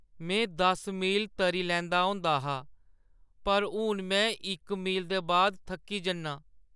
मैं दस मील तरी लैंदा होंदा हा पर हून में इक मील दे बाद थक्की जन्नां।